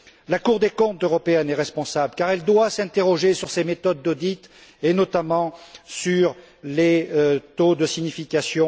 La Cour des comptes européenne est responsable car elle doit s'interroger sur ses méthodes d'audit, et notamment sur les taux de signification